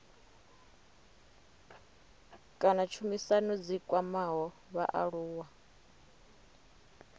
kana tshumisano dzi kwamaho vhaaluwa